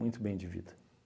Muito bem de vida.